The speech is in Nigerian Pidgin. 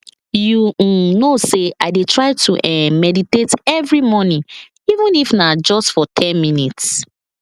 you um know say i dey try to um meditate every morning even if na just for ten minutes